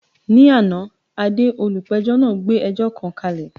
Ní àná, Ade, olùpẹ̀jọ́ náà gbé ẹjọ́ kan kalẹ̀.